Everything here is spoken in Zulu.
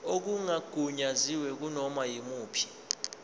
okungagunyaziwe kunoma yimuphi